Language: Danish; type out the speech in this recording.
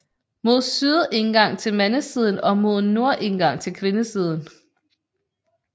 Mod syd indgang til mandesiden og mod nord indgang til kvindesiden